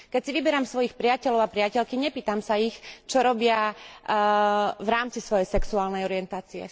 Keď si vyberám svojich priateľov a priateľky, nepýtam sa ich, čo robia v rámci svojej sexuálnej orientácie.